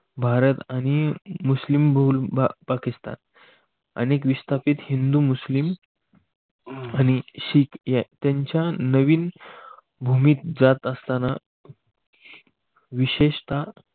भारत आणि मुस्लिम बहुल पाकिस्तान अनेक विस्थापित हिंदू मुस्लिम आणि शीख त्यांच्या नवीन भूमीत जात असतान विशेषता